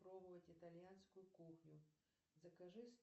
пробовать итальянскую кухню закажи